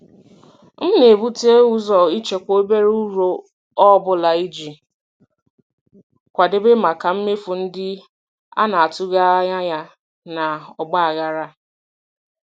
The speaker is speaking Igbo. M na-ebute ụzọ ịchekwa obere uru ọ bụla iji kwadebe maka mmefu ndị a na-atụghị anya ya na ọgba aghara.